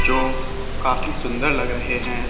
जो काफी सुंदर लग रहे है।